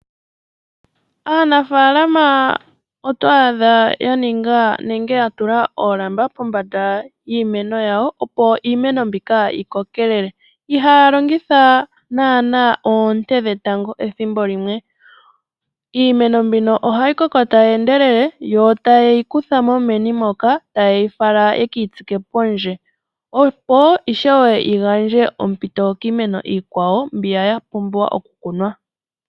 Aanafalama oto adha ya ninga nenge ya tula oolamba pombanda yiimeno yawo opo iimeno mbika yi kokelele. Ihaya longitha naana oonte dhetango ethimbo limwe. Iimeno mbino ohayi koko taui endelele, yo taye yi kuthamo meni moka, taye yi fala ye keyi tsike pondje opo ishewe yi gandje ompito kiimeno iikwawo mbiya ya pumbwa okukunwa.